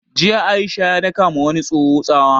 Jiya Aisha ya daka ma wani tsoho tsawa